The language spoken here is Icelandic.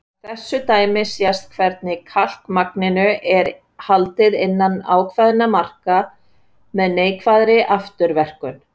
Af þessu dæmi sést hvernig kalkmagninu er haldið innan ákveðinna marka með neikvæðri afturverkun.